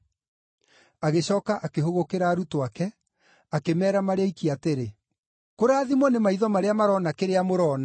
Agĩcooka akĩhũgũkĩra arutwo ake, akĩmeera marĩ oiki atĩrĩ, “Kũrathimwo nĩ maitho marĩa marona kĩrĩa mũrona.